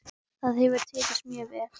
Það hefur tekist mjög vel.